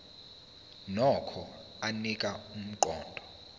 nokho anika umqondo